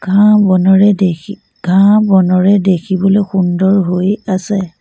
ঘাঁহ বনোৰে দেখি ঘাঁহ বনৰে দেখিবলৈ সুন্দৰ হৈ আছে।